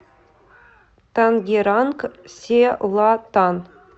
тангеранг селатан